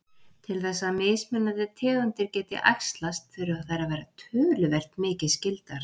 Til þess að mismunandi tegundir geti æxlast þurfa þær að vera töluvert mikið skyldar.